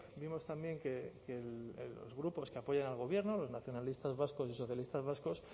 vimos también que los grupos que apoyan al gobierno los nacionalistas vascos y socialistas vascos